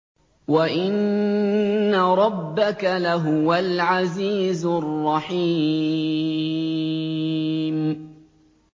وَإِنَّ رَبَّكَ لَهُوَ الْعَزِيزُ الرَّحِيمُ